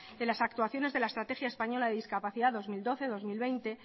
de las actuaciones de la estrategia española de discapacidad dos mil doce dos mil diez